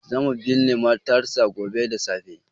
Za mu binne matarsa gobe da safe.